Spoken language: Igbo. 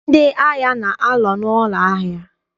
Ndị ahịa na-anọ n'ụlọ ahịa.